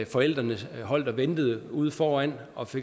forældrene holdt og ventede ude foran og